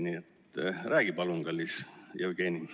Nii et räägi palun, kallis Jevgeni.